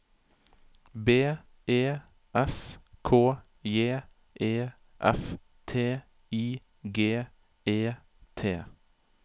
B E S K J E F T I G E T